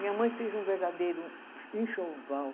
Minha mãe fez um verdadeiro enxoval.